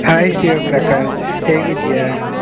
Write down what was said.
Hai Shivaprakash ಹೇಗಿದ್ದೀಯಾ?